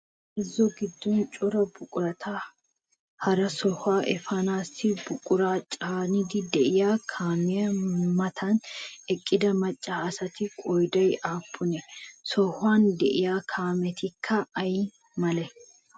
Bazzo giddon cora buqurata hara sohuwaa efaanaassi buquraa caaniiddi de'iyaa kaamiyaa matan eqqida macca asatu qoodayi aappunee? Sohuwan de'iyaa kaametikka ayi malee?